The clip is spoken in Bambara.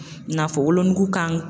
I n'a fɔ wolonugu kan